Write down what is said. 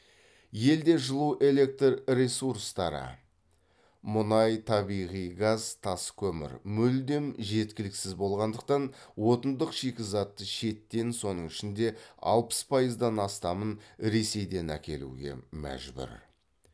елде жылу электр ресурстары мүлдем жеткіліксіз болғандықтан отындық шикізатты шеттен соның ішінде алпыс пайыздан астамын ресейден әкелуге мәжбүр